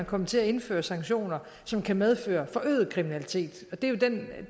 komme til at indføre sanktioner som kan medføre forøget kriminalitet